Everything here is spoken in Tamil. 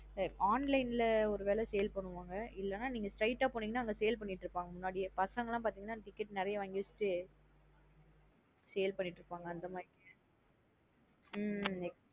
Online லா ஒரு வேல sale பண்ணுவாங்க இல்லேன்னா நீங்க straight ஆ போனீங்கன அங்க sale பண்ணிட்டு இருபாங்க. முன்னாடியே பசங்கலாம் பாதிங்கான ticket நறைய வாங்கி வைச்சுட்டு sale பண்ணிட்டு இருப்பாங்க அந்த மாத்ரி உம் exact